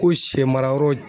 Ko sɛmara yɔrɔ